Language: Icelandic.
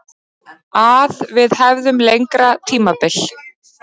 Að við hefðum lengra tímabil.